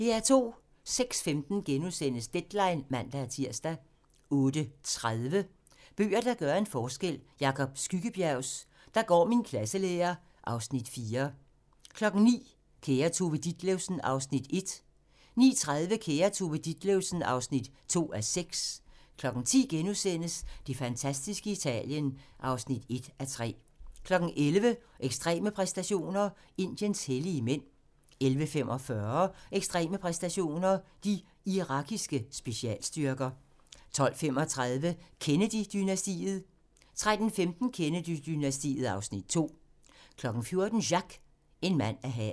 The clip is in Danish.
06:15: Deadline *(man-tir) 08:30: Bøger, der gør en forskel - Jacob Skyggebjergs "Der går min klasselærer" (Afs. 4) 09:00: Kære Tove Ditlevsen (Afs. 1) 09:30: Kære Tove Ditlevsen (2:6) 10:00: Det fantastiske Italien IV (1:3)* 11:00: Ekstreme præstationer: Indiens hellige mænd 11:45: Ekstreme præstationer: De irakiske specialstyrker 12:35: Kennedy-dynastiet 13:15: Kennedy-dynastiet (Afs. 2) 14:00: Jacques - en mand af havet